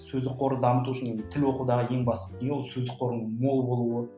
сөздік қорды дамыту үшін тіл оқудағы ең басты дүние ол сөздік қордың мол болуы